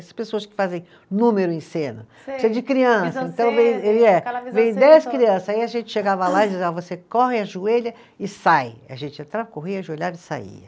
Essas pessoas que fazem número em cena. Sei. De criança, vem dez crianças, aí a gente chegava lá e dizia, ó você corre, ajoelha e sai, a gente entrava, corria, ajoelhava e saía.